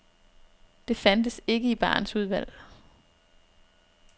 Det fandtes ikke i barens udvalg.